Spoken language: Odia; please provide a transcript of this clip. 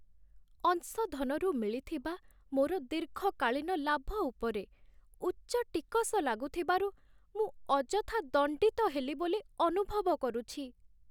ଅଂଶଧନରୁ ମିଳିଥିବା ମୋର ଦୀର୍ଘକାଳୀନ ଲାଭ ଉପରେ ଉଚ୍ଚ ଟିକସ ଲାଗୁଥିବାରୁ, ମୁଁ ଅଯଥା ଦଣ୍ଡିତ ହେଲି ବୋଲି ଅନୁଭବ କରୁଛି।